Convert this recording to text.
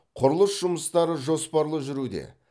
құрылыс жұмыстары жоспарлы жүруде